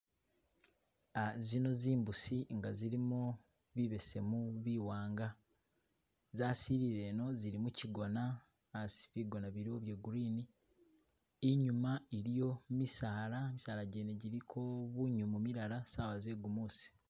Uh zino zimbusi nga zilimo bibesemu, biwanga za silile ino , zili mukigoona asi bigoona biliwo bye green, inyuma iliyo misaala, misaala jene jiliko bunyomo milala sawa ze'gumuusi.